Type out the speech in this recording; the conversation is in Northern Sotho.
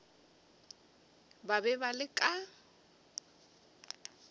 ba be ba le ka